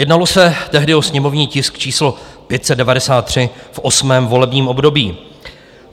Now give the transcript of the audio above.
Jednalo se tehdy o sněmovní tisk číslo 593 v 8. volebním období.